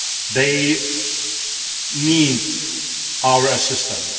They need our assistance.